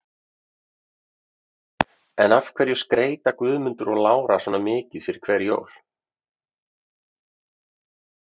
En af hverju skreyta Guðmundur og Lára svona mikið fyrir hver jól?